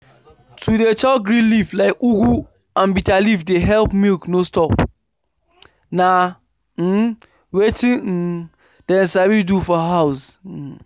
to dey chop green leaf like ugu and bitterleaf dey help milk no stop. na um wetin um dem sabi do for house. um